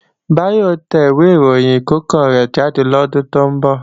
Báyọ̀ ó tẹ ìwé ìròyìn ẹ̀ẹ̀kọ̀kan rẹ̀ jáde lọ́dún tó ń bọ̀